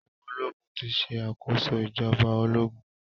Awọn ológun ti ṣe àkóso ìjọba ológun.